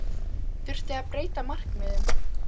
Þurfti að breyta markmiðum?